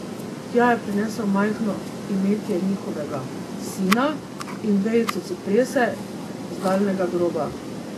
Tja je prinesel majhno imetje njihovega sina in vejico ciprese z daljnega groba.